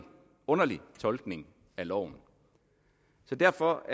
underlig tolkning af loven derfor